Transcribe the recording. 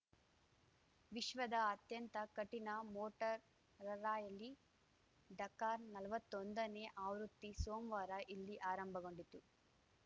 ವಿಶ್ವದ ಅತ್ಯಂತ ಕಠಿಣ ಮೋಟರ್ ರಾರ‍ಯಲಿ ಡಕಾರ್‌ ನಲ್ವತ್ತೊಂದನೇ ಆವೃತ್ತಿ ಸೋಮವಾರ ಇಲ್ಲಿ ಆರಂಭಗೊಂಡಿತು